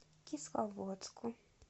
кисловодску